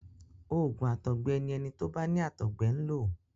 Òògùn àtọgbẹ ni ẹni tó bá ní àtọgbẹ ń lo.